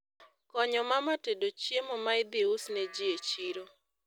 Konyo mama tedo chiemo ma idhi usne ji e chiro